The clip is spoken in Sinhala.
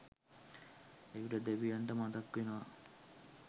එවිට දෙවියන්ට මතක්වෙනවා